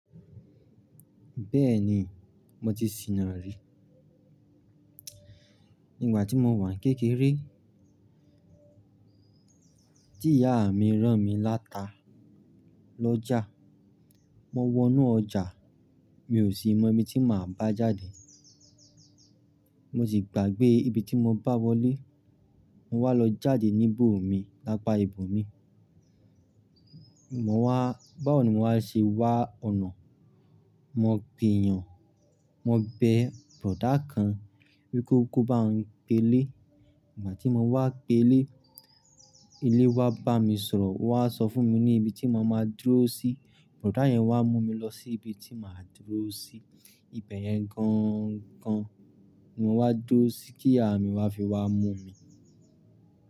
Bẹ́ẹ̀ni, mo ti sìnà rí. Nígbà tí mo wà n kékeré, tí ìyá mi rán mi l'áta l'ọ́jà, mo wọnú ọjà mi ò sì mọ ibi tí màá bá jáde. Mo sì gbàgbé ibi tí mo bá wọlé, mo wá lọ jáde níbòmi lápá ibo mi. Mo wá, báwo ni mo wá ṣe wá ọ̀nà? Mo gbìyàn, mo bẹ bọ̀dá kan wípé kó bá n pe ilé. Ìgbà tí mo wá pe ilé, ilé wa bá mi sọ̀rọ̀, won wá sọ fún mi ní ibi tí mo máa dúró sí. Bọ̀dá yẹn wá mú mi lọ sí ibi tí màá dúró sí. Ibe yẹn gangan ni mo wá dúró sí kí ìyá mi wá fi wá mú mi.